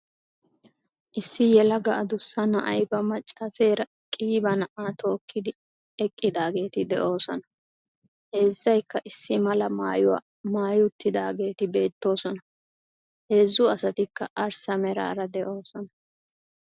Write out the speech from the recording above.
Issi yelaga addussa na'ay ba maccaaseera qiiba na'aa tookkidi eqqidaageeti de'oosona. Heezzaykka issi mala maayuwaa maayi uttidaageeti beettoosona. Heezzu asatikka arssa meraara de'oosona.